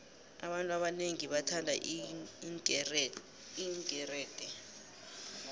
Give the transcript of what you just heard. abantu abonengi bathanda iinkerede